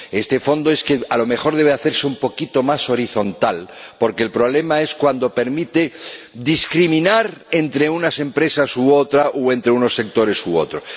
Este Fondo a lo mejor debe hacerse un poquito más horizontal, porque el problema es cuando permite discriminar entre unas empresas u otras o entre unos sectores u otros.